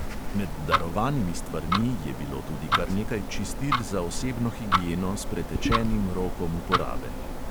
Med darovanimi stvarmi je bilo tudi kar nekaj čistil za osebno higieno s pretečenim rokom uporabe.